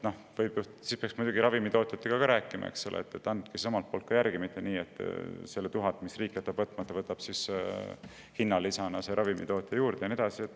Sel juhul peaks muidugi ka ravimitootjatega rääkima, et ka nemad järgi annaks, et ei oleks nii, et selle 1000, mis riik jätab võtmata, võtab hinnalisana ravimitootja.